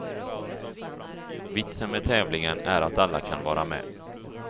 Vitsen med tävlingen är att alla kan vara med.